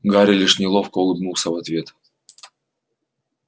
гарри лишь неловко улыбнулся в ответ